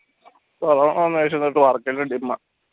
corona വന്നനുശേഷം work ക്കൊക്കെ dim ആ